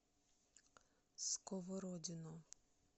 сковородино